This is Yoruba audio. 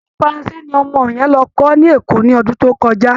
Èdè faranse ni ọmọ yẹn lọ kọ́ níÈkó ní ọdún tó kọjá